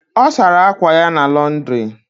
O sara akwa ya na Londiri